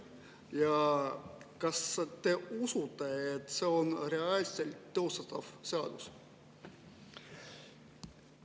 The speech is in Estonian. Ja kas te usute, et see on reaalselt teostatav seadus?